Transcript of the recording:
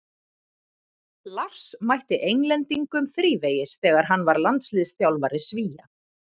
Lars mætti Englendingum þrívegis þegar hann var landsliðsþjálfari Svía.